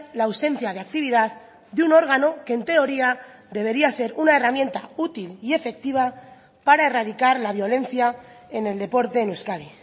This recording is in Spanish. la ausencia de actividad de un órgano que en teoría debería ser una herramienta útil y efectiva para erradicar la violencia en el deporte en euskadi